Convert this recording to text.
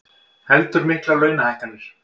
Heldur miklar launahækkanir